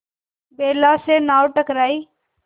बेला से नाव टकराई